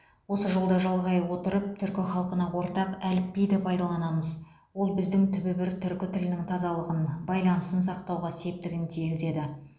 осы жолды жалғай отырып түркі халқына ортақ әліпбиді пайдаланымыз